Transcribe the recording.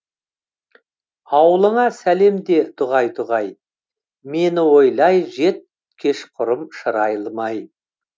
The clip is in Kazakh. ауылыңа сәлем де дұғай дұғай мені ойлай жет кешқұрым шырайлы май